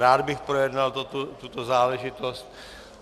Rád bych projednal tuto záležitost.